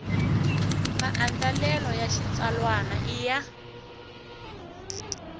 maandlalelo ya xitsalwana i ya